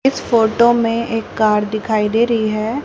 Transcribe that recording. इस फोटो में एक कार दिखाई दे रही है।